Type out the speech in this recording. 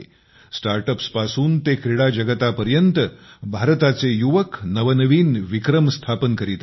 स्टार्टअप्सपासून ते क्रीडा जगतापर्यंत भारताचे युवक नवनवीन विक्रम तयार करीत आहेत